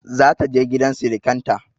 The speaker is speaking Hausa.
Za ta je gidan sirikanta.